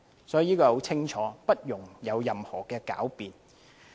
這是很清楚的，不容任何狡辯。